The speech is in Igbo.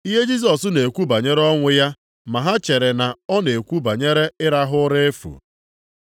Ihe Jisọs na-ekwu bụ banyere ọnwụ ya ma ha chere na ọ na-ekwu banyere ịrahụ ụra efu.